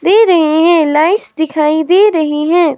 दे रही हैं। लाइट्स दिखाई दे रही है।